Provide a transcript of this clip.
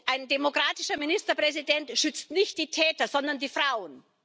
Ein demokratischer Ministerpräsident schützt nicht die Täter, sondern die Frauen.